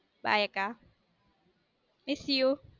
Bye அக்கா miss you too.